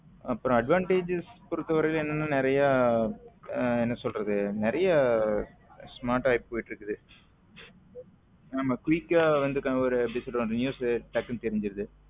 அப்பரம் advantages பொறுத்த வரைல நறிய என்ன சொல்றது நறிய smart ஆகிடு போயிடு இருக்குது ஆமா quick ஆ ஒரு news டக்குன்னு தெரிஞ்சுருது